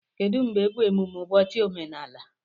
Kedụ mgbe bụ emume ụbọchị omenala?